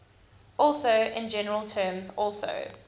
also in general terms also